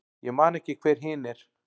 Ég man ekki hver hin er.